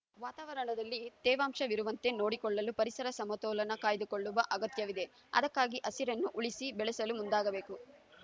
ವಾತಾವರಣದಲ್ಲಿ ತೇವಾಂಶವಿರುವಂತೆ ನೋಡಿಕೊಳ್ಳಲು ಪರಿಸರ ಸಮತೋಲನ ಕಾಯ್ದುಕೊಳ್ಳುವ ಅಗತ್ಯವಿದೆ ಅದಕ್ಕಾಗಿ ಹಸಿರನ್ನು ಉಳಿಸಿಬೆಳೆಸಲು ಮುಂದಾಗಬೇಕು